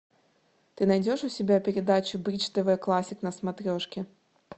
ты найдешь у себя передачу бридж тв классик на смотрешке